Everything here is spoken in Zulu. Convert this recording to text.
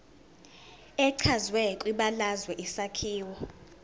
echazwe kwibalazwe isakhiwo